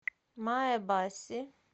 маэбаси